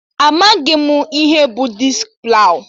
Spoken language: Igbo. Amaghị m ihe bụ diski plawụ